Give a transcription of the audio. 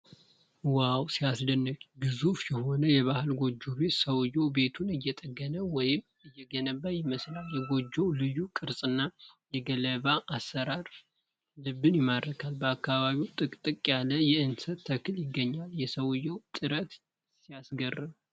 ዋው ሲያስደንቅ! ግዙፍ የሆነ የባህል ጎጆ ቤት! ሰውዬው ቤቱን እየጠገነ ወይም እየገነባ ይመስላል። የጎጆው ልዩ ቅርጽና የገለባ አሠራር ልብን ይማርካል። በአካባቢው ጥቅጥቅ ያለ የእንሰት ተክል ይገኛል። የሰውየው ጥረት ሲገርም!